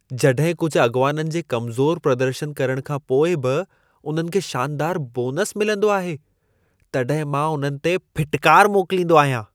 जॾहिं कुझु अॻिवाननि जे कमज़ोर प्रदर्शन करण खां पोइ बि उन्हनि खे शानदार बोनस मिलंदो आहे, तॾहिं मां उन्हनि ते फिटकार मोकलींदो आहियां।